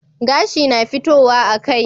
Gashi na fitowa a kai